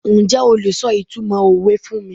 Njẹ́ o lè sọ ìtumọ̀ òwe fún mi?